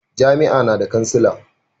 jami'a na da kansila